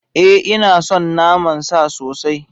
Ee ina son naman sa sosai